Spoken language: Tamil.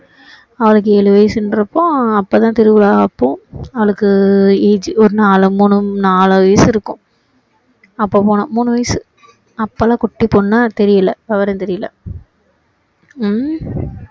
அவளுக்கு ஏழு வயசுங்கறப்போ அப்போதான் திருவிழா அப்போ அவளுக்கு ஒரு நாலு மூணு நாலு வயசு இருக்கும் அப்போ போனோம் மூணு வயசு அப்போதான் குட்டி பொண்ணு தெரியல விவரம் தெரியல ஹம்